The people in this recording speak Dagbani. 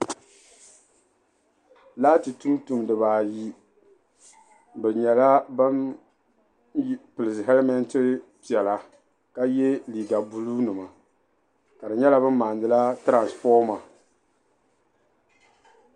Laati tuntumdiba ayi bɛ nyɛla bam pili hɛlimɛnti piɛla ka ye liiga buluunima ka di nyɛla bɛ maandila tiransifɔma.